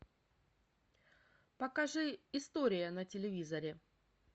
покажи история на телевизоре